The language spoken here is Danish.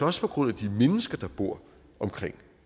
også på grund af de mennesker der bor omkring